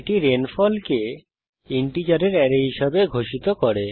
এটি রেইনফল কে ইন্টিজারের অ্যারে হিসাবে ঘোষিত করে